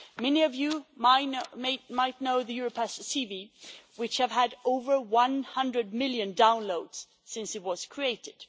Many of you might know the Europass CV, which has had over 100 million downloads since it was created.